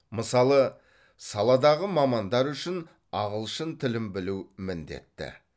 мысалы саладағы мамандар үшін ағылшын тілін білу міндетті